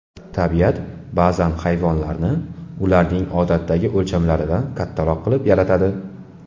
Tabiat ba’zan hayvonlarni ularning odatdagi o‘lchamlaridan kattaroq qilib yaratadi.